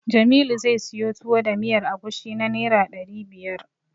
Jamilu zai siyo Tuwo da miyar agushi na Naira ɗari biyar.